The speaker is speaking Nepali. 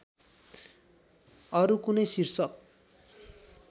अरू कुनै शीर्षक